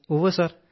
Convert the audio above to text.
ഉവ്വ് സർ